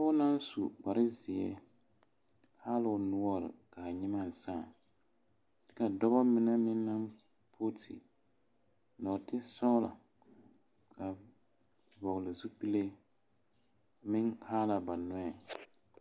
Pɔɡe naŋ su kparzeɛ haa la o noɔre ka a nyemɛ sãã ka dɔbɔ mine meŋ pooti nɔɔtesɔɡelɔ a vɔɔl zupile meŋ haa la ba nɔɛ .